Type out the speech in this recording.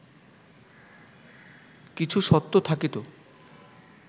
কিছু সত্য থাকিত